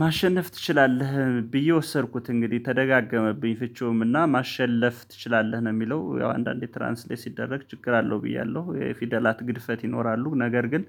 ማሸነፍ ትችላለህ ብዬ ወሰድኩት እንግዲህ ተደጋገመብኝ ፍቺውም እና ማሸለፍ ትችላለህ ነው የሚለው ያው አንዳንዴ ትራንስሌት ሲደረግ ችግር አለው ብያለሁ። የፊደላት ግድፈት ይኖራሉ ነገር ግን